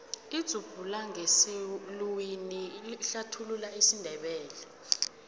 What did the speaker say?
idzubulangesiluwini ihlathulula isindebele